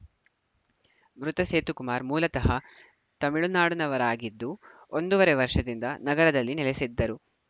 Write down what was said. ಮೃತ ಸೇತು ಕುಮಾರ್‌ ಮೂಲತಃ ತಮಿಳುನಾಡಿನವರಾಗಿದ್ದು ಒಂದೂವರೆ ವರ್ಷದಿಂದ ನಗರದಲ್ಲಿ ನೆಲೆಸಿದ್ದರು